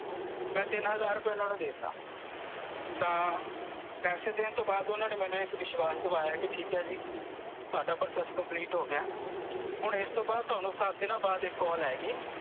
ਮੈਂ ਤਿੰਨ ਹਜ਼ਾਰ ਰੁਪਏ ਓਹਨਾਂ ਨੂੰ ਦੇ ਤਾ ਤਾਂ ਪੈਸੇ ਦੇਣ ਤੋਂ ਬਾਅਦ ਓਹਨਾਂ ਨੇ ਮੈਨੂੰ ਇੱਕ ਵਿਸ਼ਵਾਸ ਦਵਾਇਆ ਕੀ ਠੀਕ ਐ ਜੀ ਤੁਹਾਡਾ process complete ਹੋ ਗਿਆ ਐ ਹੁਣ ਇਸਤੋਂ ਬਾਅਦ ਤੁਹਾਨੂੰ ਸੱਤ ਦਿਨਾਂ ਬਾਅਦ ਇੱਕ ਕਾਲ ਆਏਗੀ